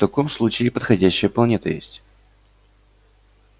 в таком случае подходящая планета есть